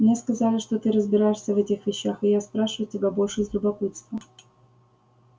мне сказали что ты разбираешься в этих вещах и я спрашиваю тебя больше из любопытства